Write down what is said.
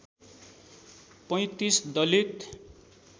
३५ दलित